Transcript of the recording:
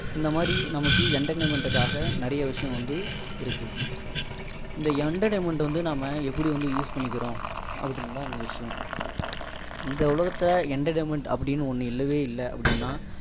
இந்த மாதிரி நமக்கு entertainment காக நிறைய விஷயங்கள வந்து இருக்கு இந்த entertainment வந்து நம்ம எப்படி வந்து use பண்ணிக்கிறோம் அப்படின்னு தான் இங்க விஷயம் இந்த உல்கத்துல entertainment அப்படின்னு ஒண்ணு இல்லவே இல்லை அப்படின்னா